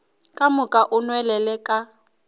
ka moka o nwelele ka